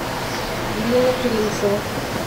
елена туринцева